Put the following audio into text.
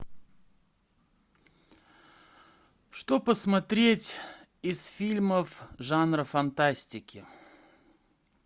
что посмотреть из фильмов жанра фантастики